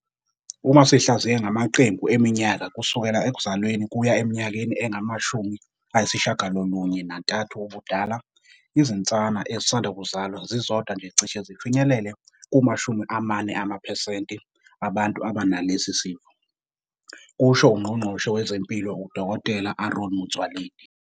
"Uma sihlaziya ngamaqembu eminyaka kusukela ekuzalweni kuya eminyakeni engama-93 ubudala, izinsana ezisanda kuzalwa zizodwa nje zicishe zifinyelele kuma-40 amaphesenti abantu abanalesi sifo," kusho uNgqongqoshe wezeMpilo uDkt Aaron Motsoaledi.